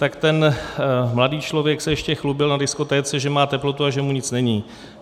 Tak ten mladý člověk se ještě chlubil na diskotéce, že má teplotu a že mu nic není.